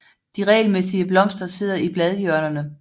De regelmæssige blomster sidder i bladhjørnerne